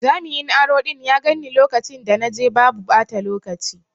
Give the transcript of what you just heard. Jami'in aro ɗin ya ganni lokacin da na je babu ɓata lokaci.